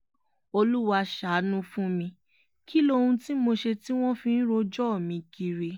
olúwa ṣàánú fún mi kí lohun tí mo ṣe tí wọ́n fi ń rojọ́ mi kiri